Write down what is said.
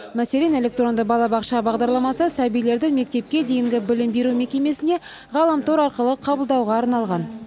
мәселен электронды балабақша бағдарламасы сәбилерді мектепке дейінгі білім беру мекемесіне ғаламтор арқылы қабылдауға арналған